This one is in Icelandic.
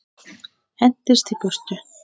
Hendist í burtu.